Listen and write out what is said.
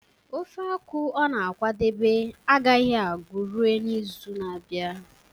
ofe akwu ọ na-akwadebe agaghị agu ruo izu na-abịa